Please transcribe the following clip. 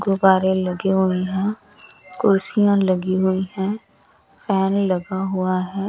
गुब्बारें लगे हुए हैं कुर्सियां लगी हुई हैं फैन लगा हुआ है।